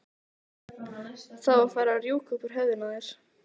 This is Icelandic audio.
Það var farið að rjúka upp úr höfðinu á þér.